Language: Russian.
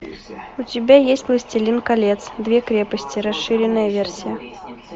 у тебя есть властелин колец две крепости расширенная версия